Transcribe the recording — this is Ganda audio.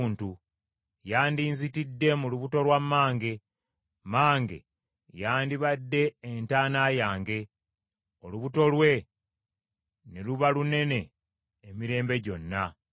Yandinzitidde mu lubuto lwa mmange. Mmange yandibadde entaana yange, olubuto lwe ne luba lunene emirembe gyonna.